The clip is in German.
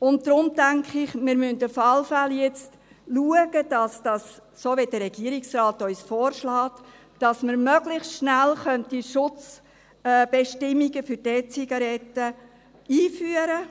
Deshalb, denke ich, müssen wir auf jeden Fall, so wie es uns der Regierungsrat vorschlägt, zusehen, dass wir möglichst rasch die Schutzbestimmungen für die E-Zigaretten einführen.